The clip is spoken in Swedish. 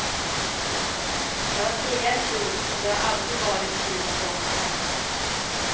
Jag var trea i fjol och det har alltid varit kul att åka här.